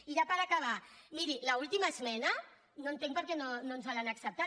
i ja per acabar miri l’última esmena no entenc per què no ens l’han acceptat